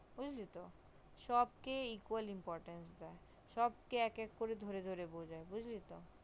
বুজলি তো সবকে equally important দেয় সব কে এক এক করে ধরে ধরে বুজায় বুজলি তো